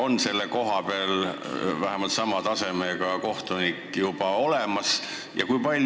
Kas selle koha peale on meil vähemalt sama tasemega kohtunik juba olemas?